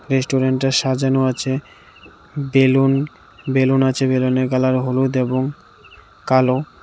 রেস্টুরেন্টটা সাজানো আছে বেলুন বেলুন আছে বেলুনের কালার হলুদ এবং কালো।